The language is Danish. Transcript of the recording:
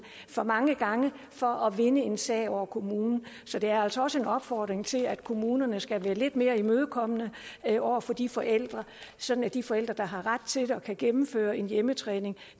for mange gange for at vinde en sag over kommunen så det er altså også en opfordring til at kommunerne skal være lidt mere imødekommende over for de forældre sådan at de forældre der har ret til og kan gennemføre en hjemmetræning